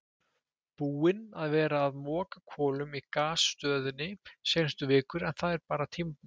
Búinn að vera að moka kolum í gasstöðinni seinustu vikur en það er bara tímabundið.